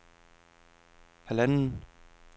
halvanden